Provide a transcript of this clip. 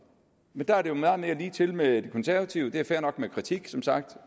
men der er det jo meget mere ligetil med de konservative det er fair nok med kritik som sagt